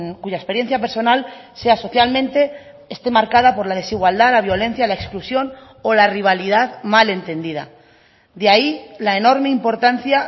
cuya experiencia personal sea socialmente esté marcada por la desigualdad la violencia la exclusión o la rivalidad mal entendida de ahí la enorme importancia